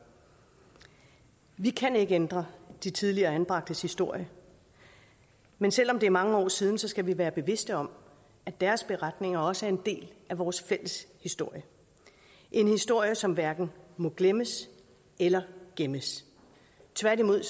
vi kan ikke ændre de tidligere anbragtes historie men selv om det er mange år siden skal vi være bevidst om at deres beretninger også er en del af vores fælles historie en historie som hverken må glemmes eller gemmes tværtimod